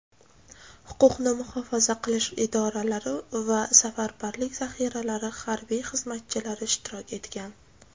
huquqni muhofaza qilish idoralari va safarbarlik zaxiralari harbiy xizmatchilari ishtirok etgan.